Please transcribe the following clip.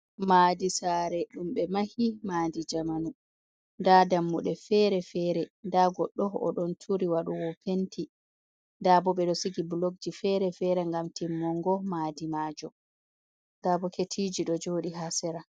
Maadi saare ɗum ɓe mahi maadi jamanu. Nda dammuɗe fere-fere, nda goɗɗo o ɗon turi waɗowo penti. Nda bo ɓe ɗo sigi blokji fere-fere ngam timmongo maadi maajum. Nda boketiji ɗo jooɗi ha sera.